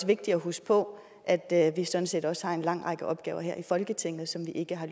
vigtigt at huske på at at vi sådan set også har en lang række opgaver her i folketinget som vi ikke har